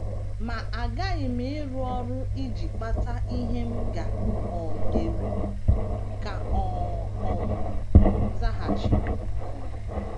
“ Ma aghaghị m ịrụ ọrụ iji kpata ihe m ga - um eri, ” ka ọ um zaghachiri um.